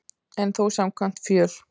En þó samkvæmt fjöl